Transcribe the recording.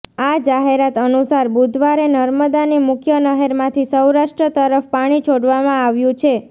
આ જાહેરાત અનુસાર બુધવારે નર્મદાની મુખ્ય નહેરમાંથી સૌરાષ્ટ્ર તરફ પાણી છોડવામાં આવ્યું છે